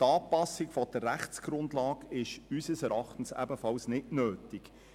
Die Anpassung der Rechtsgrundlage ist unseres Erachtens ebenfalls nicht nötig.